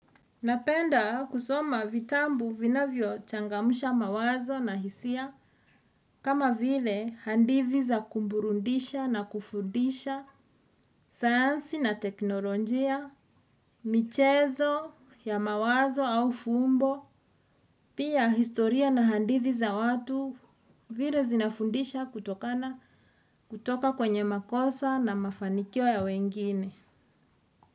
Napenda kusoma vitabu vinavyo changamsha mawazo na hisia, kama vile hadithi za kuburudisha na kufundisha, sayansi na teknolojia, michezo ya mawazo au fumbo, pia historia na hadithi za watu vile zinafundisha kutoka kwenye makosa na mafanikio ya wengine.